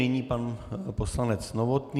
Nyní pan poslanec Novotný.